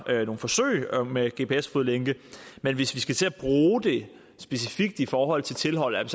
nogle forsøg med gps fodlænke men hvis vi skal til at bruge det specifikt i forhold til tilhold er